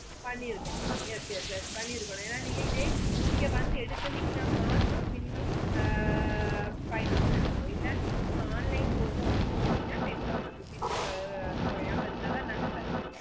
பண்ணிற்குனோம் yes yes yes பண்ணிற்குனோம் என நீங்க இதே இங்க வந்து எடுத்திங்கனா மற்றம் minimum அஹ்ஹ் five thousand எடுக்காணோம் இல்ல online போனோம் அப்புடின்னு சொன்னிங்கன்னா ten thousand rupees குறையாம இருந்ததன் நாங்க தருவோம்